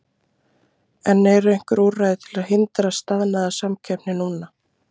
En eru einhver úrræði til að hindra staðnaða samkeppni núna?